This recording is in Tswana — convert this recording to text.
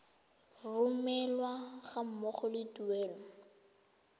romelwa ga mmogo le tuelo